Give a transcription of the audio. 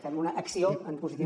fem una acció en positiu